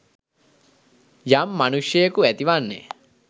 යම් මනුෂ්‍යයෙකු ඇති වන්නේ